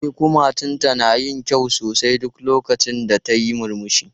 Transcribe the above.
E, kumatunta na yin kyau sosai duk lokacin da tayi murmushi.